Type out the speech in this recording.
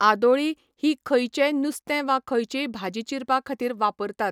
आदोळी ही खंयचेय नुस्तें वा खंयचीय भाजी चिरपाक खातीर वापरतात